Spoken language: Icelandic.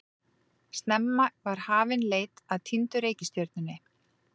Snemma var hafin leit að týndu reikistjörnunni.